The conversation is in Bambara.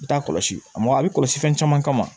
I t'a kɔlɔsi mɔgɔ a bɛ kɔlɔsi fɛn caman kama